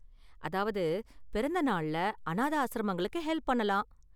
அதாவது, பிறந்த நாள்ல அனாதை ஆஸ்ரமங்களுக்கு ஹெல்ப் பண்ணலாம்.